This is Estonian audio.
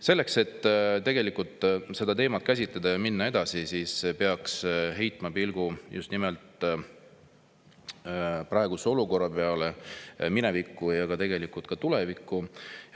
Selleks, et tegelikult seda teemat käsitleda ja minna edasi, peaks heitma pilgu just nimelt praegusele olukorrale, aga ka minevikku ja tulevikku.